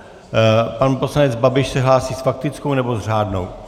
Pan poslanec Babiš se hlásí s faktickou, nebo s řádnou?